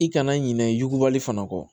I kana ɲinɛ i yugubali fana kɔ